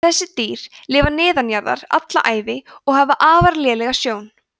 þessi dýr lifa neðanjarðar alla ævi og hafa afar lélega sjón